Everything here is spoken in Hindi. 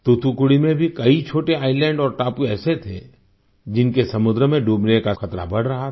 तूतुकुड़ी में भी कई छोटे आईएसएलएंड और टापू ऐसे थे जिनके समुद्र में डूबने का खतरा बढ़ रहा था